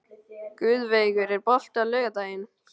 Guðveigur, er bolti á laugardaginn?